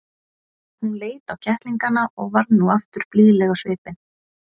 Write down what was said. Hún leit á kettlingana og varð nú aftur blíðleg á svipinn.